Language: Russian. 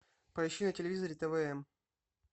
поищи на телевизоре твм